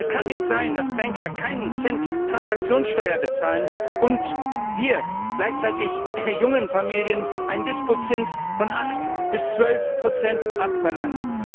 Es kann nicht sein, dass Banker keinen Cent Transaktionssteuer bezahlen und wir gleichzeitig jungen Familien einen Dispozins von 8 bis 12 abverlangen.